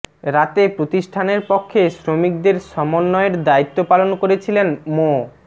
রাতে প্রতিষ্ঠানের পক্ষে শ্রমিকদের সমন্বয়ের দায়িত্ব পালন করছিলেন মো